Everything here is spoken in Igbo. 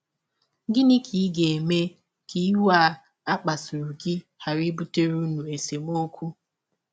Gịnị ka ị ga - eme ka iwe a kpasụrụ gị ghara ibụtere ụnụ esemọkwụ?